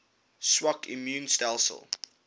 swak immuun stelsels